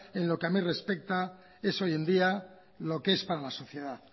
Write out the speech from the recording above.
en lo que a mí respecta es hoy en día lo que es para la sociedad